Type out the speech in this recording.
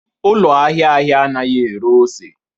Ụlọ ahịa ahịa anaghị ere ose